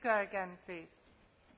Pani Przewodnicząca!